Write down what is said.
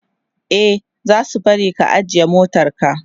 e zasu bari ka ajiye motarka